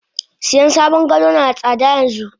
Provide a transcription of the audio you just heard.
Siyan sabon gado nada tsada yanxu.